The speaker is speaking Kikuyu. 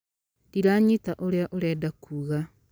Ndiranyita ũrĩa ũrenda kuuga